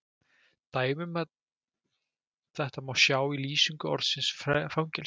Dæmi um þetta má sjá í lýsingu orðsins fangelsi